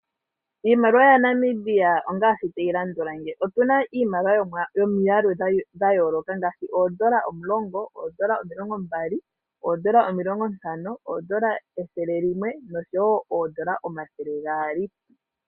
Iimaliwa yaNamibia ongaashi tayi landula ngeyi otu na iimaliwa yomwaalu gwa yooloka ngaashi oondola omulongo, ooondola omilongo mbali, oondola omilongo ntano, oondola ethele limwe noshowo oondola omathele gaali.